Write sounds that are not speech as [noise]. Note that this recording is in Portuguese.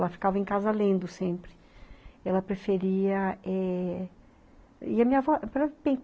Ela ficava em casa lendo sempre. Ela preferia é... E a minha avó [unintelligible]